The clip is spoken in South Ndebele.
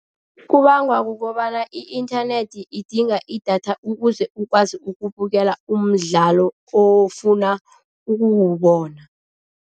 Kubangwa kukobana i-inthanethi idinga idatha ukuze ukwazi ukubukela umdlalo ofuna ukuwubona.